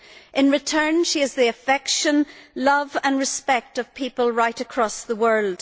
In return she has the affection, love and respect of people right across the world.